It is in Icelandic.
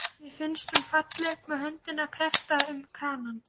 Mér finnst hún falleg með höndina kreppta um kranann.